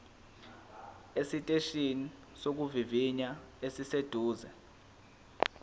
esiteshini sokuvivinya esiseduze